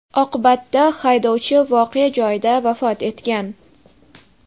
Oqibatda haydovchi voqea joyida vafot etgan.